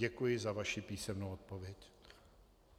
Děkuji za vaši písemnou odpověď.